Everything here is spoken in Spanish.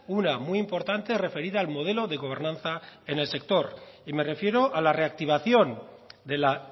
una muy importante referida al modelo de gobernanza en el sector y me refiero a la reactivación de la